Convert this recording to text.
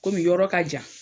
Komi yɔrɔ ka jan